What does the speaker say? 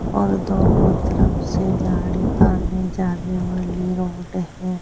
और दोनों तरफ से गाड़ी आने-जाने वाली रोड है।